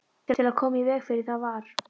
Til að koma í veg fyrir það var